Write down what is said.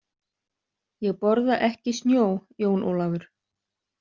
Ég borða ekki snjó, Jón Ólafur.